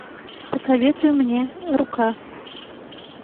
посоветуй мне рука